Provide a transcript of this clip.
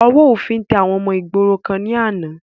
Ọwọ́ òfin tẹ àwọn ọmọ ìgboro kan ni àná